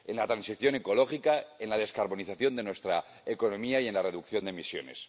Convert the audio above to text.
En la transición ecológica, en la descarbonización de nuestra economía y en la reducción de emisiones.